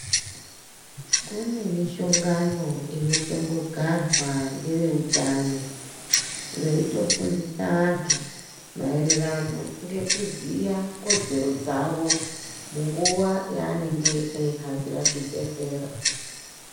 Kune mihlongano inotombogarwa ngeveutano veyitofundisa vandu maererano ngokuziva kodzero dzavo nguwa yaanenge eyihambira zvibhedhlera.